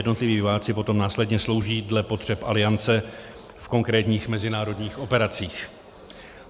Jednotliví vojáci potom následně slouží dle potřeb Aliance v konkrétních mezinárodních operacích.